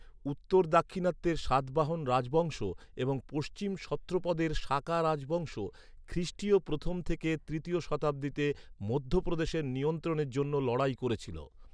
উত্তর দাক্ষিণাত্যের সাতবাহন রাজবংশ এবং পশ্চিম সত্রপদের সাকা রাজবংশ খ্রিস্টীয় প্রথম থেকে তৃতীয় শতাব্দীতে মধ্যপ্রদেশের নিয়ন্ত্রণের জন্য লড়াই করেছিল।